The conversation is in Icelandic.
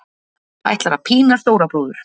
Ætlar að pína stóra bróður